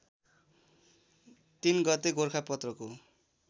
३ गते गोरखापत्रको